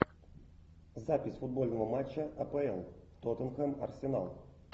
запись футбольного матча апл тоттенхэм арсенал